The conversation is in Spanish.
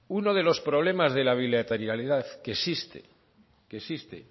uno de los problemas de la bilateralidad que existe